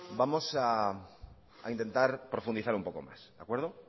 vamos a intentar profundizar un poco más de acuerdo